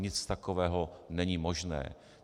Nic takového není možné.